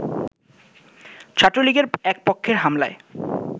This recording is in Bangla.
ছাত্রলীগের এক পক্ষের হামলায়